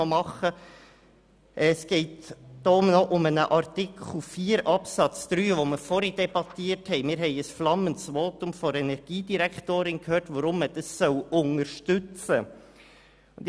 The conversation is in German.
Vorher haben wir noch über einen Artikel 4 Absatz 3 debattiert und ein flammendes Votum der Energiedirektorin gehört, weshalb man dies unterstützen soll.